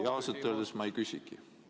Ausalt öeldes ma ei küsigi midagi.